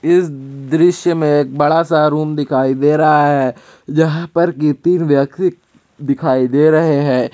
इस दृश्य में एक बड़ा सा रूम दिखाई दे रहा है जहां पर की तीन व्यक्ति दिखाई दे रहे हैं।